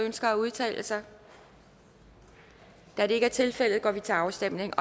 ønsker at udtale sig da det ikke er tilfældet går vi til afstemning